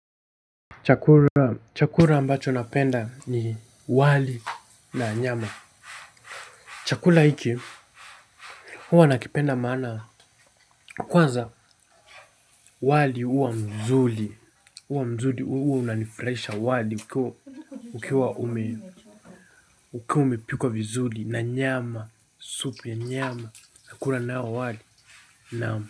Chakula ambacho napenda ni wali na nyama. Chakula hiki huwa nakipenda maana kwanza wali huwa mzuri unanifurahisha wali ukiwa umepikwa vizuri na nyama supu ya nyama. Nakula nao wali na mzuri.